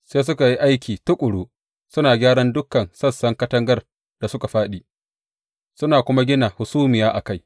Sai suka yi aiki tuƙuru suna gyaran dukan sassan katangar da suka fāɗi, suna kuma gina hasumiya a kai.